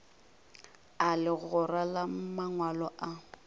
a legora la mangwalo a